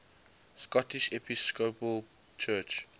scottish episcopal church